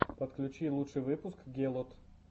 подключи лучший выпуск гелот